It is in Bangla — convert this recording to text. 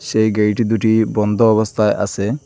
সেই গেট দুটি বন্ধ অবস্থায় আছে।